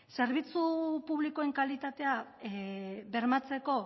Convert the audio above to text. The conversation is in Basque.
zerbitzu publikoen kalitatea bermatzeko